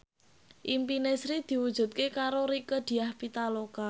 impine Sri diwujudke karo Rieke Diah Pitaloka